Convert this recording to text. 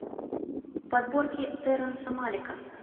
подборки терренса малика